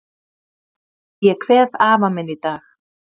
Ég kveð afa minn í dag.